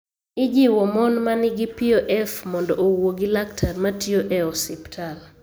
Ijiwo mon ma nigi POF mondo owuo gi laktar matiyo e osiptal.